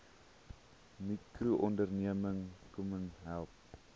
mikroonderneming kmmo help